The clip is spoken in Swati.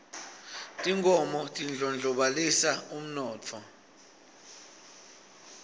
tinkhomo tindlonolobalisa umnotho